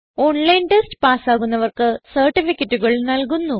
online test പാസ്സാകുന്നവർക്ക് സർട്ടിഫികറ്റുകൾ നല്കുന്നു